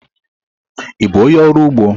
Ị bụ onye ọrụ ugbo?